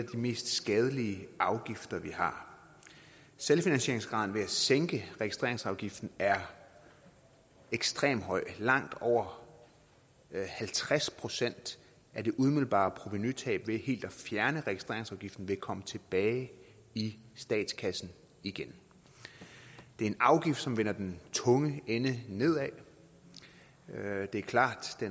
mest skadelige afgifter vi har selvfinansieringsgraden ved at sænke registreringsafgiften er ekstremt høj langt over halvtreds procent af det umiddelbare provenutab ved helt at fjerne registreringsafgiften vil komme tilbage i statskassen igen det er en afgift som vender den tunge ende nedad det er klart